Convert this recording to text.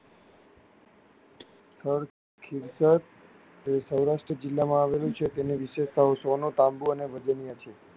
સ્થળ તે સૌરાસ્ટ્ર જિલ્લા માં આવેલું છે તેની વિશિષતાઑ સોનું તાંબું અને વિદનય છે.